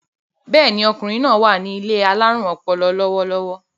Bẹ́ẹ̀ni, ọkùnrin náài wà ní ilé alárùn ọpọlọ lọ́wọ́lọ́wọ́